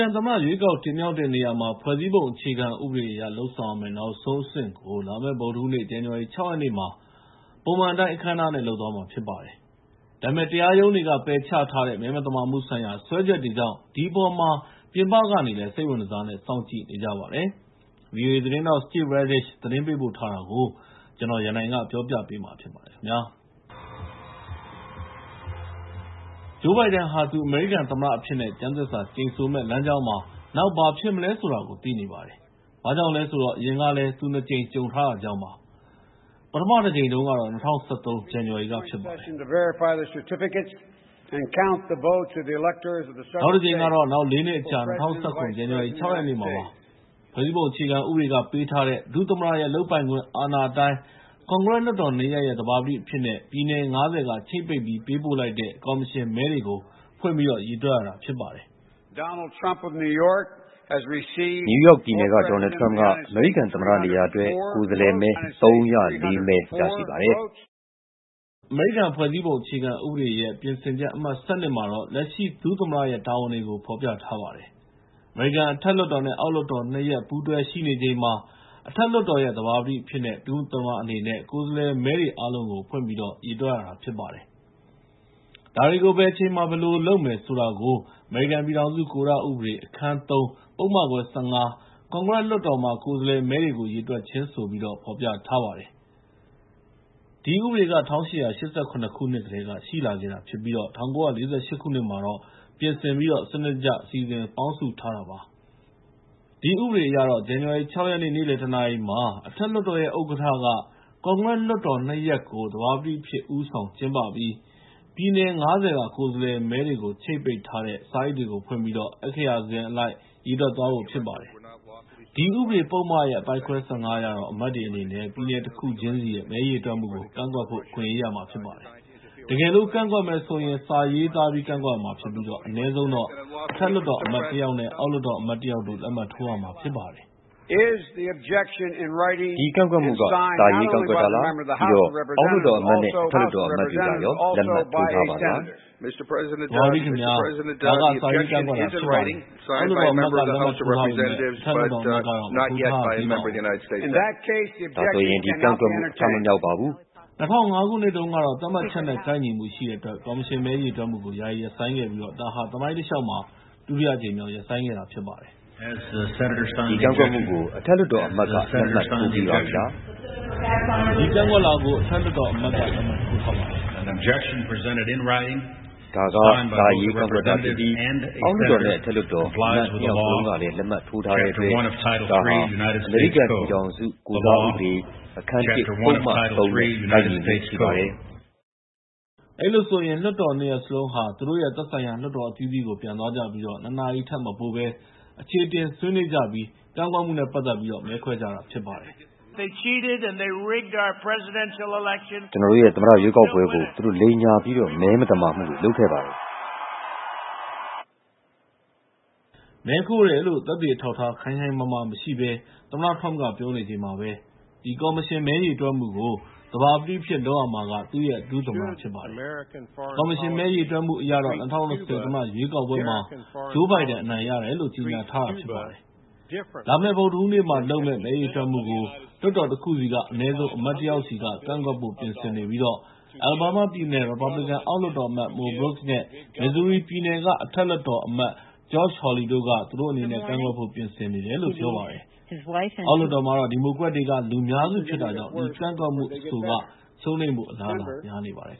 န်သမ္မတ ရွေးကောက်တင်မြှောက်တဲ့နေရာမှာ ဖွဲ့စည်းပုံအခြေခံဥပဒေအရ လုပ်ဆောင်ရမယ့် နောက်ဆုံးအဆင့်ကို လာမယ့် ဗုဒ္ဓဟူးနေ့ ဇန်နဝါရီ ၆ ရက်နေ့မှာ ပုံမှန်အတိုင်း အခမ်းအနားနဲ့ လုပ်သွားမှာဖြစ်ပါတယ်။ ဒါပေမယ့် မဲမသမာမှုတွေ ရှိတယ်ဆိုတဲ့ စွဲချက်တွေကို တရားရုံးက ပယ်ချထားတာကြောင့် ဒီအပေါ်မှာ ပြင်ပကနေလည်း စိတ်ဝင်တစားနဲ့ စောင့်ကြည့်နေကြပါတယ်။ ဗွီအိုအေသတင်းထောက် Steve Redish သတင်းပေးပို့ထားတာကို ကိုရန်နိုင် တင်ပြပေးထားပါတယ်။ Joe Biden ဟာ သူ အမေရိကန်သမ္မတအဖြစ်နဲ့ ကျမ်းသစ္စာကျိန်ဆိုမယ့် လမ်းကြောင်းမှာ နောက် ဘာဖြစ်မလဲဆိုတာကို သိနေပါတယ်။ ဘာကြောင့်လဲဆိုတော့ အရင်ကလည်း သူ ၂ ကြိမ် ကြုံထားတာကြောင့်ပါ။ ပထမတကြိမ်ကတော့ ၂၀၁၃ ဇန်နဝါရီက ဖြစ်ပါတယ်။ နောက်တကြိမ်ကတော့ နောက် ၄ နှစ်အကြာ ၂၀၁၇ ဇန်နဝါရီလ ၆ ရက်နေ့မှာ ဖြစ်ပါတယ်။ ဖွဲ့စည်းပုံအခြေခံဥပဒေက ပေးထားတဲ့ ဒုသမ္မတရဲ့ လုပ်ပိုင်ခွင့်အာဏာအတိုင်း ကွန်ဂရက်လွှတ်တော် ၂ ရပ်ရဲ့ သဘာပတိအဖြစ်နဲ့ ပြည်နယ် ၅၀ က ချိတ်ပိတ်ပြီး ပေးပို့လိုက်တဲ့ ကော်မရှင်မဲတွေကို ဖွင့်ပြီး ရေတွက်ရတာဖြစ်ပါတယ်။ “နယူးယောက်ပြည်နယ်က Donald Trump က အမေရိကန်သမ္မတနေရာအတွက် ကိုယ်စားလှယ်မဲ ၃၀၄ မဲ ရရှိပါတယ်။” အမေရိကန်ဖွဲ့စည်းပုံအခြေခံဥပဒေရဲ့ ပြင်ဆင်ချက် အမှတ် ၁၂ မှာတော့ လက်ရှိဒုသမ္မတရဲ့ တာဝန်တွေကို ဖော်ပြထားပါတယ်။ အမေရိကန် အထက်လွှတ်တော်နဲ့ အောက်လွှတ်တော် ၂ ရပ် ပူးတွဲရှိနေချိန်မှာ အထက်လွှတ်တော်ရဲ့ သဘာပတိအဖြစ်ရှိနေတဲ့ ဒု-သမ္မတအနေနဲ့ ကိုယ်စားလှယ်မဲတွေ အားလုံးကို ဖွင့်ပြီးတော့ ရေတွက်ရတာ ဖြစ်ပါတယ်။ ဒါတွေကို ဘယ်အချိန်မှာ ဘယ်လိုလုပ်မယ်ဆိုတာကို အမေရိကန်ပြည်ထောင်စု ကိုဓဥပဒေ အခန်း ၃ ပုဒ်မခွဲ ၁၅ ကွန်ဂရက်လွှတ်တော်မှာ ကိုယ်စားလှယ်မဲတွေကို ရေတွက်ခြင်းဆိုပြီး ဖော်ပြထားပါတယ်။ ဒီဥပဒေက ၁၈၈၇ ခုနှစ်ကတည်းက ရှိလာခဲ့တာဖြစ်ပြီး ၁၉၄၈ မှာ ပြင်ဆင်ပြီးတော့ စနစ်တကျ စီစဉ်ပေါင်းစုထားတာ ဖြစ်ပါတယ်။ ဒီဥပဒေအရ ဇန်နဝါရီ ၆ ရက်နေ့ နေ့လယ် ၁ နာရီမှာ အထက်လွှတ်တော်ရဲ့ ဥက္ကဋ္ဌက ကွန်ဂရက်လွှတ်တော် ၂ ရပ်ကို သဘာပတိအဖြစ် ဦးဆောင်ကျင်းပပြီး ပြည်နယ် ၅၀ က ကိုယ်စားလှယ်မဲတွေ ချိတ်ပိတ်ထားတဲ့ စာအိတ်တွေကို ဖွင့်ပြီး အက္ခရာစဉ်အလိုက် ရေတွက်သွားဖို့ ဖြစ်ပါတယ်။ အဲဒီဥပဒေပုဒ်မ အပိုဒ်ခွဲ ၁၅ အရတော့ အဖွဲ့ဝင်တွေအနေနဲ့ ပြည်နယ်တခုချင်းစီရဲ့ မဲရေတွက်မှုကို ကန့်ကွက်ဖို့ အခွင့်အရေးရမှာ ဖြစ်ပါတယ်။ တကယ်လို့ ကန့်ကွက်မယ်ဆိုရင် စာရေးသားပြီး ကန့်ကွက်ရမှာဖြစ်ပြီး အနည်းဆုံးတော့ အထက်လွှတ်တော်အမတ်တယောက်နဲ့ အောက်လွှတ်တော်အမတ်တယောက်တို့ လက်မှတ်ထိုးရမှာ ဖြစ်ပါတယ်။ Joe Biden - “ဒီကန့်ကွက်မှုက စာရေးကန့်ကွက်တာလား? ပြီးတော့ အောက်လွှတ်တော်အမတ်နဲ့ အထက်လွှတ်တော်အမတ်တွေကရော လက်မှတ်ထိုးထားပါသလား။” House Member - “သဘာပတိခင်ဗျား၊ ဒါက စာရေးကန့်ကွက်တာ ဖြစ်ပါတယ်။ အောက်လွှတ်တော်အမတ်က လက်မှတ်ထိုးထားပေမယ့် အထက်လွှတ်တော်အမတ်ကတော့ မထိုးထားရသေးပါဘူး။” Joe Biden - “ဒါဆိုရင် ဒီကန့်ကွက်မှု အထမမြောက်ပါဘူး။” ၂၀၀၅ ခုနှစ်တုန်းကတော့ သတ်မှတ်ချက်နဲ့ ကိုက်ညီမှုရှိတဲ့အတွက် ကော်မရှင်မဲ ရေတွက်မှုကို ယာယီရပ်ဆိုင်းလိုက်ပြီး ဒါဟာ သမိုင်းတလျှောက်မှာ ဒုတိယအကြိမ်မြောက် ရပ်ဆိုင်းခဲ့တာဖြစ်ပါတယ်။ Cheney - “ဒီကန့်ကွက်မှုကို အထက်လွှတ်တော်အမတ်က လက်မှတ်ထိုးပြီးပြီလား။” Tubbs - “ဒီကန့်ကွက်လွှာကို အထက်လွှတ်တော်အမတ်က လက်မှတ်ထိုးထားပါတယ်။” Cheney - “ဒါက စာရေးကန့်ကွက်တာဖြစ်ပြီး အောက်လွှတ်တော်နဲ့ အထက်လွှတ်တော်အမတ် ၂ ယောက်စလုံးကလည်း လက်မှတ်ထိုးထားတဲ့အတွက် ဒါက အမေရိကန်ပြည်ထောင်စု ကိုဓဥပဒေ အခန်း ၁ ပုဒ်မ ၃ နဲ့ ကိုက်ညီမှုရှိပါတယ်။” အဲဒီလိုဆိုရင် လွှတ်တော် ၂ ရပ်စလုံးဟာ သူတို့ရဲ့ သက်ဆိုင်ရာ လွှတ်တော်အသီးသီးကို ပြန်သွားကြပြီး ၂ နာရီထက်မပိုဘဲ အချေအတင် ဆွေးနွေးကြပြီး ကန့်ကွက်မှုနဲ့ပတ်သက်ပြီး မဲခွဲကြတာဖြစ်ပါတယ်။ အမေရိကန်သမ္မတ Donald Trump က “ကျနော်တို့ရဲ့သမ္မတရွေးကောက်ပွဲကို သူတို့ လိမ်ညာပြီးတော့ မဲမသမာမှုတွေ လုပ်ခဲ့ပါတယ်။” လို့ ပြောပါတယ်။ မဲခိုးတယ်လို့ သက်သေအထောက်အထား ခိုင်ခိုင်မာမာမရှိဘဲ သမ္မတ Trump က ပြောနေချိန်မှာပဲ ဒီ ကော်မရှင်မဲ ရေတွက်မှုကို သဘာပတိအဖြစ် လုပ်ရမှာက သူ့ရဲ့ ဒု-သမ္မတ ဖြစ်ပါတယ်။ ကော်မရှင်မဲ ရေတွက်မှုအရတော့ ၂၀၂၀ သမ္မတရွေးကောက်ပွဲမှာ Joe Biden အနိုင်ရတယ်လို့ ကြေညာထားတာ ဖြစ်ပါတယ်။ လာမယ့် ဗုဒ္ဓဟူးနေ့မှာလုပ်မယ့် မဲရေတွက်မှုကိုတော့ လွှတ်တော်တခုဆီက အနည်းဆုံး အမတ် ၁ ယောက်စီက ကန့်ကွက်ဖို့ ပြင်ဆင်နေပြီး အလာဘားမားပြည်နယ် ရီပတ်ဘလစ်ကန် အောက်လွှတ်တော်အမတ် Mo Brooks နဲ့ မစ်ဇူရီပြည်နယ်က အထက်လွှတ်တော်အမတ် Josh Hawley တို့က သူတို့အနေနဲ့ ကန့်ကွက်ဖို့ ပြင်ဆင်နေတယ်လို့ ပြောပါတယ်။ အောက်လွှတ်တော်မှာတော့ ဒီမိုကရက်တွေက လူများစုဖြစ်တာကြောင့် အဲဒီကန့်ကွက်မှု အဆိုကတော့ ရှုံးနိမ့်ဖို့ အလားအလာ များနေပါတယ်